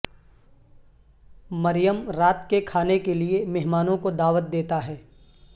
مریم رات کے کھانے کے لئے مہمانوں کو دعوت دیتا ہے